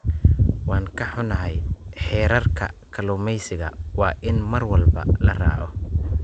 Waan ka xunnahay, xeerarka kalluumeysiga waa in mar walba la raaco.